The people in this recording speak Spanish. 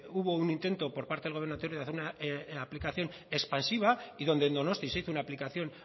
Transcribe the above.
hubo un intento por parte del gobierno anterior de hacer una aplicación expansiva y donde en donostia